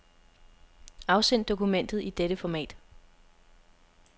Afsend dokumentet i dette format.